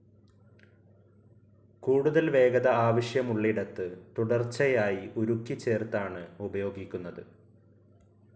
കൂടുതൽ വേഗത ആവശ്യമുള്ളിടത്ത് തുടർച്ചയായി ഉരുക്കി ചേർത്താണ് ഉപയോഗിക്കുന്നത്.